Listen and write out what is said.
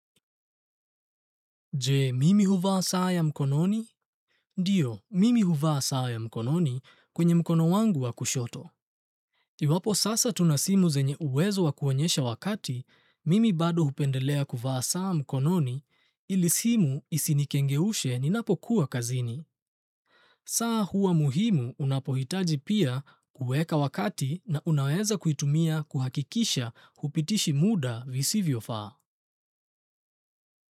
Je, mimi huvaa saa ya mkononi? Ndiyo, mimi huvaa saa ya mkononi kwenye mkono wangu wa kushoto. Iwapo sasa tuna simu zenye uwezo wa kuonyesha wakati, mimi bado hupendelea kuvaa saa mkononi, ili simu isinikengeushe ninapokuwa kazini. Saa huwa muhimu unapohitaji pia kuweka wakati na unaweza kuitumia kuhakikisha hupitishi muda visivyofaa.